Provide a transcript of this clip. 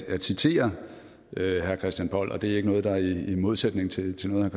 at citere herre christian poll og det er ikke noget der er i modsætning til til noget